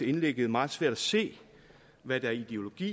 indlægget meget svært at se hvad der er ideologi